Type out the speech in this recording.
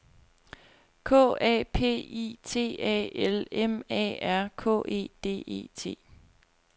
K A P I T A L M A R K E D E T